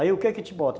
Aí o que que bota?